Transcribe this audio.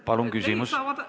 Palun küsimus!